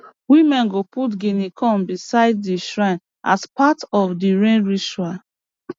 women go put guinea corn beside the shrine as part of the rain ritual